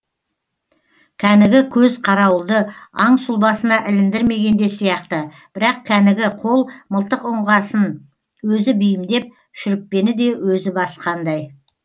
кәнігі көз қарауылды аң сұлбасына іліндірмеген де сияқты бірақ кәнігі қол мылтық ұңғасын өзі бейімдеп шүріппені де өзі басқандай